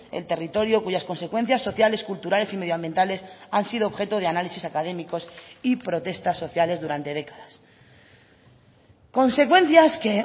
el territorio cuyas consecuencias sociales culturales y medioambientales han sido objeto de análisis académicos y protestas sociales durante décadas consecuencias que